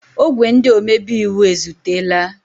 Ogwé ndị omebe iwu ezutela.